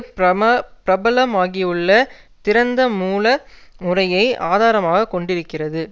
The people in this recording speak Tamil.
பிரம பிரபலமாகியுள்ள திறந்த மூல முறைமையை ஆதாரமாக கொண்டிருக்கிறது